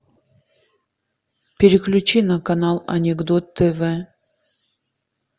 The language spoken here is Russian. переключи на канал анекдот тв